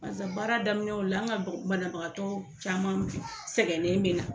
Barisa baara daminɛnw la an ka banabagatɔ caman sɛgɛnnen me na.